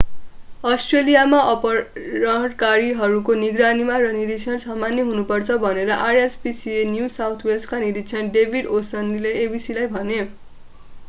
अस्ट्रेलियामा अपहरणकारीहरूको निगरानी र निरिक्षण सामान्य हुनु पर्छ भनेर rspca न्यु साउथ वेल्सका निरिक्षक डेभिड ओ'शनेसीले abcलाई भने।